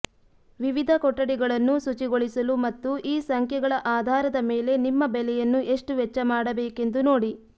ವಿವಿಧ ಕೊಠಡಿಗಳನ್ನು ಶುಚಿಗೊಳಿಸಲು ಮತ್ತು ಈ ಸಂಖ್ಯೆಗಳ ಆಧಾರದ ಮೇಲೆ ನಿಮ್ಮ ಬೆಲೆಯನ್ನು ಎಷ್ಟು ವೆಚ್ಚ ಮಾಡಬೇಕೆಂದು ನೋಡಿ